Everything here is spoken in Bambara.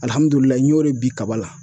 Alihamdullilahi n y'o de bin kaba la